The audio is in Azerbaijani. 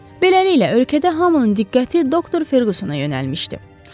Beləliklə, ölkədə hamının diqqəti doktor Ferqusana yönəlmişdi.